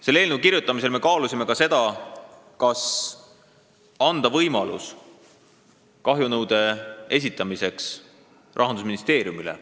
Selle eelnõu kirjutamisel me kaalusime seda, kas anda kahjunõude esitamise võimalus Rahandusministeeriumile.